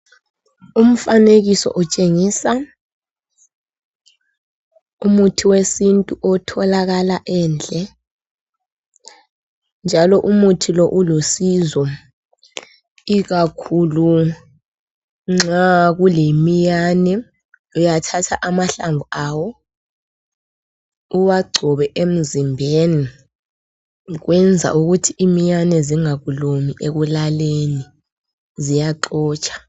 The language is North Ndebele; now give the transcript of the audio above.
Umfanekiso utshengisa umuthi wesintu otholakala endle njalo umuthi lo ulusizo ikakhulu nxa kulemiyane uyathatha amahlamvu awo uwagcobe emzimbeni kwenza ukuthi imiyane zingakulumi ekulaleni, ziyaxotsha.